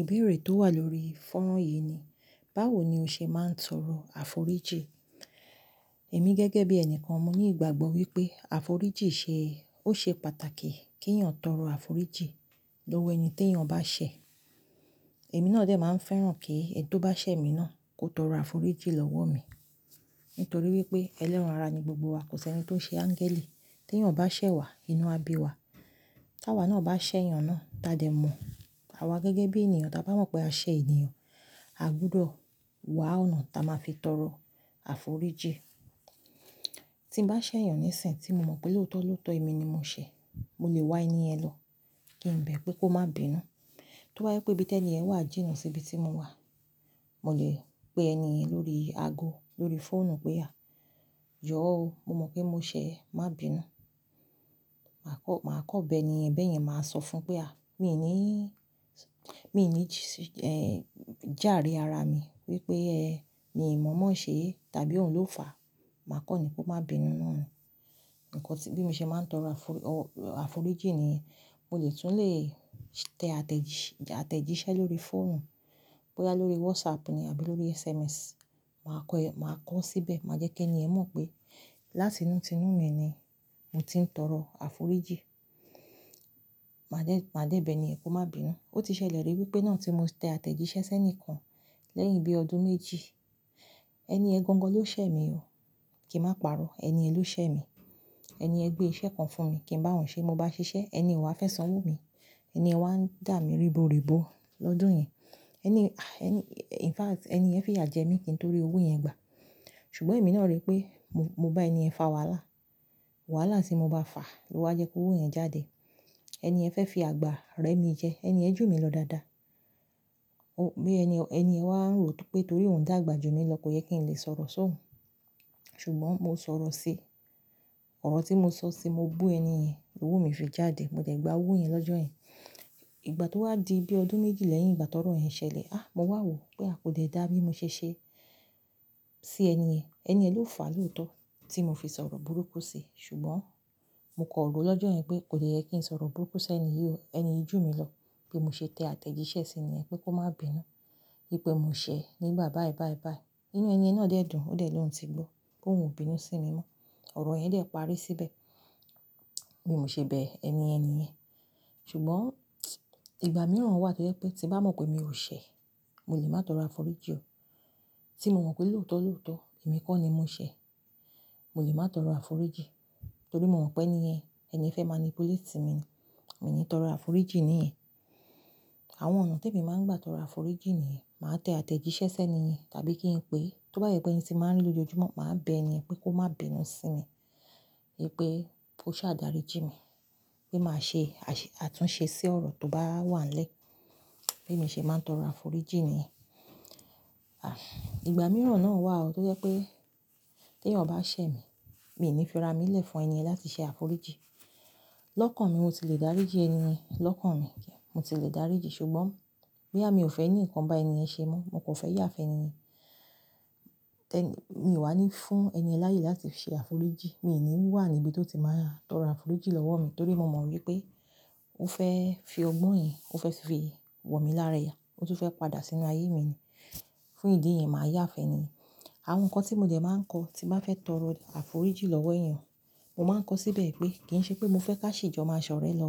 Ìbéèrè tó wà lórí ìfọ̀rọ̀ yìí ni, báwo ni o ṣe máa ń sọ̀rọ̀ àforíjì? Èmi gẹ́gẹ́ bí ẹni kan mọ̀ ní ìgbàgbọ́ wípé àforíjì ṣe, ó ṣe pàtàkì kí ènìyàn tọrọ àforíjì lọ́wọ́ ẹni tí ènìyàn bá ṣẹ̀. Èmi náà dẹ̀ máa ń fẹ́ràn kí ẹni tó bá ṣẹ̀ mi náà kó tọrọ àforíjì lọ́wọ́ mi. Nítorí wípé ẹlẹ́ràn ara ni gbogbo wa, kò sí ẹni tó ṣe áńgẹ́lì. Tí èyàn bá ṣẹ̀ wa, inú á bí wa. Tí àwa náà bá ṣẹ̀ ènìyàn náà, ta dẹ̀ mọ̀. Àwa gẹ́gẹ́ bí ènìyàn, tí a bá mọ̀ pé a ṣẹ̀ ènìyàn, a gbúdọ̀ wá ọ̀nà ta máa fi tọrọ àforíjì. Tí mo bá ṣẹ̀ ènìyàn ní ìsìn tí mo mọ̀ pé lóòótọ́ lóòótọ́ èmi ni mo ṣẹ̀, mo lè wá ẹni ẹ̀ lọ kí n bẹ pé kó má bínú. Tó bá ee pé bí tẹ́lẹ̀ yẹn wà jìnnà sí ibi tí mo wà, mo lè pe ẹni lórí ago, lórí fóònù pé a, yọ́ ọ, mo mọ̀ pé mo ṣẹ̀ ẹ, má bínú. Màá kọ́, màá kọ́ bẹ ẹni ẹ̀ bẹ́ẹ̀ yẹn máa sọ fún pé a, mi ò ní, mi ò ní, ẹ́, jáàrí ara mi wípé ẹ́ ni mọ̀ọ́mọ̀ ṣe tàbí òun ló fàá. Màá kọ́ ni kó má bínú náà ni. Ǹkọ́ tí bí mo ṣe máa ń tọrọ àforí, àforíjì nìyẹn. Mo lè tún lè tẹ àtẹ̀jíṣẹ́ lórí fóònù. Bí a lórí WhatsApp ni àbí lórí SMS, màá kọ́ ẹ, màá kọ̀ ọ́ síbẹ̀, màá jẹ́ kí ẹni ẹ̀ mọ̀ pé láti inú tinu mi ni mo ti ń tọrọ àforíjì. Màá dẹ́, màá dẹ́ bẹ ẹni yẹn kó má bínú. Ó ti ṣẹlẹ̀ rí wípé náà tí mo tẹ àtẹ̀jíṣẹ́ sẹ́ni kan lẹ́yìn bí ọdún méjì. Ẹni ẹ gangan ló ṣẹ̀ mi o. Kì í má párọ́. Ẹni ẹ ló ṣẹ̀ mi. Ẹni ẹ gbé iṣẹ́ kan fún mi kí n bá òun ṣe. Mo bá ṣiṣẹ́, ẹni o wá fẹ́ sanwó mi. Ẹni ẹ wá ń dà mí riburibu lọ́dún yẹn. Ẹni, ẹni, in fact, ẹni yẹ fi yà jẹ́ mi ki ntorí owó yẹn gbà. Ṣùgbọ́n èmi náà rí pé mo, mo bá ẹni ẹ̀ fa wàhálà. Wàhálà tí mo bá fa ló wá jẹ́ kó owó yẹn jáde. Ẹni ẹ fẹ́ fi àgbà rẹ́ mi jẹ. Ẹni ẹ jù mí lọ dáadáa. Ó, bí ẹni, ẹni ẹ wà ń rò pé torí òun dàgbà jù mí lọ kò yẹ kí n lè sọ̀rọ̀ sí òun. Ṣùgbọ́n mo sọ̀rọ̀ sí i. Ọ̀rọ̀ tí mo sọ sí i, mo bú ẹni ẹ̀, owó mi fi jáde. Mo dẹ́ gba owó yẹn lọ́jọ́ yẹn. Ìgbà tó wá di bí ọdún méjì lẹ́yìn ìgbà tọrọ yẹn ṣẹlẹ̀, a, mo wà wò pé a kò dè dá bí mo ṣe ṣe sí ẹni ẹ̀. Ẹni ẹ ló fàá lóòótọ́ tí mo fi sọ̀rọ̀ burúkú sí i. Ṣùgbọ́n mo kọ̀ ọ́ ro lọ́jọ́ yẹn pé kò dè yẹ kí n sọ̀rọ̀ burúkú sí ẹni yí o. Ẹni yí jù mí lọ. Bí mo ṣe tẹ àtẹ̀jíṣẹ́ sí niyen pé kó má bínú. Wípé mo ṣẹ̀ nígbà báẹ́ báẹ́ báẹ́. Inú ẹni ẹ̀ náà dẹ̀ dùn, ó dẹ̀ lóun tí gbó pé òun ò bínú sí mi mọ́. Ọ̀rọ̀ yẹn dẹ̀ parí síbẹ̀. Bi mò ṣe bẹ ẹni yen niyen. Ṣùgbọ́n ìgbà mìíràn wà tó jẹ́ pé tí bá mọ̀ pé mi ò ṣẹ̀, mo lè má tọrọ àforíjì o. Tí mo mọ̀ pé lóòótọ́ lóòótọ́ èmi kọ́ ni mo ṣẹ̀, mo lè má tọrọ àforíjì. Nítorí mo mọ̀ pé ẹniyẹ̀n, ẹniyẹn fẹ́ mánípulẹ́etí mi ni. Mi n ní tọrọ àforíjì ní yẹ̀n. Àwọn ọ̀nà t'èmi máa ń gbà tọrọ àforíjì nìyẹn. Máa tẹ àtẹ̀jíṣẹ́ sẹ́ ẹniyẹ̀n tàbí kí n pè é, tó bá de jẹ pé ẹni ti mo máa ń ri lòjoojúmọ́, màá bẹ ẹniyen pé kó má bínú sí mi. Wípé kó ṣà dáríjì mi pé màá ṣe àṣe, àtúnṣe sí ọ̀rọ̀ tó bá wà n lẹ̀. Bí mo ṣe máa ń tọrọ àforíjì nìyẹn. À, ìgbà mìíràn náà wà o tó jẹ́ pé tẹ̀eyan bá ṣẹ̀ mi, mi n ní fira mi lè fún ẹniyẹ̀n láti ṣe àforíjì. Lọ́kàn mi mo ti lè dáríjì ẹniyen lọ́kàn mi. Mo ti lè dáríjì. Ṣùgbọ́n boya mi ò fẹ́ ní nǹkan bá ẹniyẹ̀n ṣe mọ́, mo kan fẹ́ yà fun ẹniyẹ̀n. Tẹ́ni, mi ò wá ní fún ẹniyen laayè láti ṣe àforíjì. Mi n ní wà níbi tó ti máa tọrọ àforíjì lọ́wọ́ mi. Nítorí mo mọ̀ wípé ó fẹ́ fi ọgbọ́n yẹn, ó fẹ́ fi wọ̀ mí lára ẹ̀yà, ó tún fẹ́ padà sínú ayé mi ni. Fún ìdí yẹn, màá yà fun ẹniyẹ̀n. Àwọn nǹkan tí mo dẹ̀ máa ń kọ́ tí n bá fẹ́ tọrọ àforíjì lọ́wọ́ ènìyàn, mo máa ń kọ̀ ọ́ síbẹ̀ pé kì í ṣe pé mo fẹ́ ká ṣi jọ máa ṣọ̀rẹ́ lọ.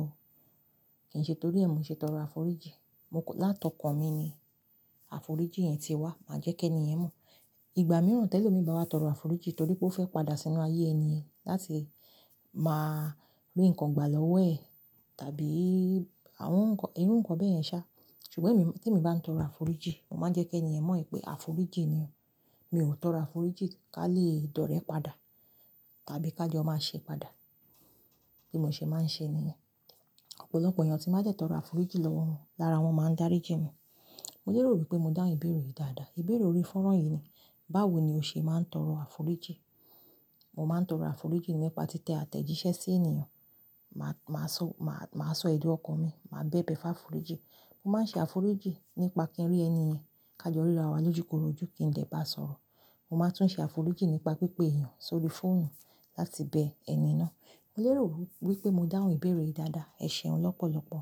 Kì í ṣe torí ẹ̀ mi ṣe tọrọ àforíjì. Mo kan, látọ̀kàn mi ni àforíjì yẹn ti wá. Màá jẹ́ kí ẹniyẹ̀n mọ̀. Ìgbà mìíràn tẹ́lómii bá wá tọrọ àforíjì nítorí pé ó fẹ́ padà sínú ayé ẹniyẹ̀n láti máa rí nǹkan gbà lọ́wọ́ ẹ̀ tàbí àwọn nǹkan, irú nǹkan bẹ́ẹ̀ yẹn ṣá. Ṣùgbọ́n èmi, tí èmi bá ń tọrọ àforíjì, mo máa ń jẹ́ kí ẹni ẹ̀ mọ̀ pé àforíjì ni o. Mi ò tọrọ àforíjì ká lè dọ̀ọ́rẹ́ padà tàbí ká jọ máa ṣe padà. Bí mo ṣe máa ń ṣe nìyẹn. Ọ̀pọ̀lọpọ̀ èeyàn tí n bá dẹ́ tọrọ àforíjì lọ́wọ́ wọn lára wọn máa ń dáríjì mi. Mo lérò wípé mo dáhun ìbéèrè yìí dáadáa. Ìbéèrè orí fọ̀ran yìí ni, báwo ni o ṣe máa ń tọrọ àforíjì? Mo máa ń tọrọ àforíjì nípa tí tẹ àtẹ̀jíṣẹ́ sí ènìyàn. Ma, màá sọ, màá, màá sọ èdun ọkàn mi. Màá bẹ bẹ fáforíjì. Mo máa ń ṣe àforíjì nípa kí n rí ẹniyẹ̀n ká jọ rira wa lójúkorojú kí n dè bá a sọ̀rọ̀. Mo máa tún ṣe àforíjì nípa pípé èeyàn sórí fóònù láti bẹ ẹni náà. Mo lérò wípé mo dáhun ìbéèrè yìí dáadáa. Ẹ̀ṣẹ̀un lọ́pọ̀lọ́pọ̀.